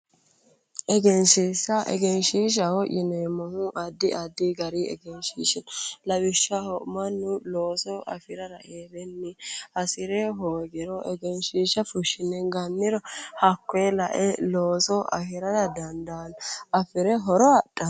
Egenshiishsha egenshiishshaho yineemmohu addi addi gari egenshiishshi no lawishshaho mannu looso afirara heerenni hasire hoogiro egenshiishsha fushshine ganniro hakkoye lae looso afirara dandaanno afire horo adhanno